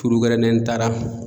gɛrɛ ni n taara